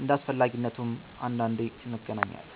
እንደ አስፈላጊነቱም አንዳንዴ እንገናኛለን።